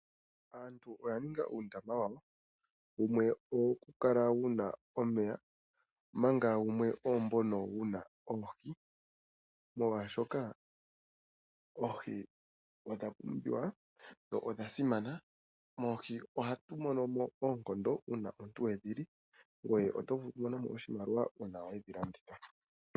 Aantu oya ninga uundama wawo wumwe owo ku kala wuna omeya manga wumwe ombono wuna oohi molwashoka oohi odha pumbiwa dho odha simana moohi ohatu mono mo oonkondo uuna omuntu wedhi li ngwe oto vulu okumonamo oshimaliwa uuna wedhi landitha.